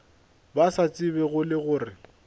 ba sa tsebego le gore